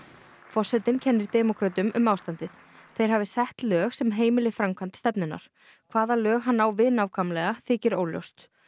forsetinn kennir demókrötum um ástandið þeir hafi sett lög sem heimili framkvæmd stefnunnar hvaða lög hann á við nákvæmlega þykir óljóst